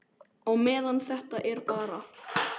Á meðan þetta er bara.